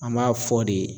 An b'a fɔ de